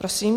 Prosím.